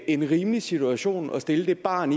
en rimelig situation at stille det barn